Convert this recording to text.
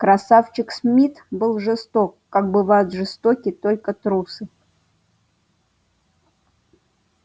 красавчик смит был жесток как бывают жестоки только трусы